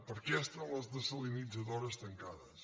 per què estan les desalinitzadores tancades